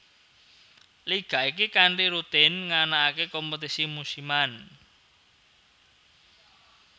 Liga iki kanthi rutin nganakake kompetisi musiman